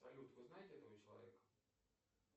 салют вы знаете этого человека